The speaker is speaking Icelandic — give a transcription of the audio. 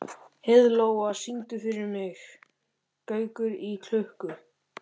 Heiðlóa, syngdu fyrir mig „Gaukur í klukku“.